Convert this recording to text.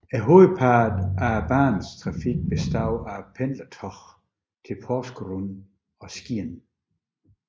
Hovedparten af banens trafik bestod af pendlertog til Porsgrunn og Skien